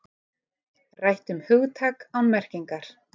Rætt um hugtak án merkingar